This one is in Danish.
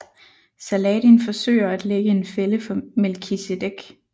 Saladin forsøger at lægge en fælde for Melkisedek